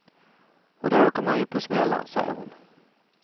Och då åker man ju på smällar, säger hon.